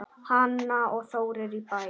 Hanna og Þórir í Bæ.